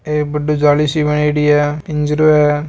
एक बड़ी सी जाली सी बनायोडी है आ पिंजरों है।